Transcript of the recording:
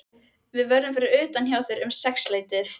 Við verðum fyrir utan hjá þér um sexleytið.